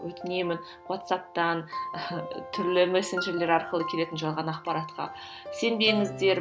өтінемін уатсаптан түрлі мессенджерлер арқылы келетін жалған ақпаратқа сенбеңіздер